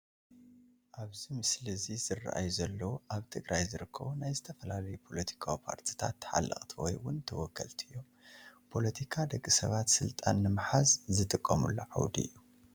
ኣብዚ ምስሊ እዚ ዝረአዩ ዘለው ኣብ ትግራይ ዝርከቡ ናይ ዝተፈላለዩ ፖለቲካዊ ፓርትታት ተሓለቕቲ ወይ ውን ተወከልቲ እዮም፡፡ ፖለቲካ ደቂ ሰባት ስልጣን ንምሓዝ ዝጥቀምሉ ዓውዲ እዩ፡፡